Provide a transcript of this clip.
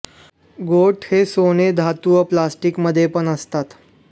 गोठ हे सोने धातू व प्लास्टिक मध्ये पण असतात